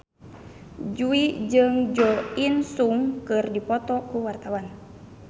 Jui jeung Jo In Sung keur dipoto ku wartawan